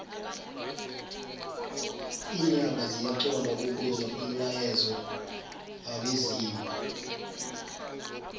linyanga ziyaxhond ukuzwa umlayezo wabezimu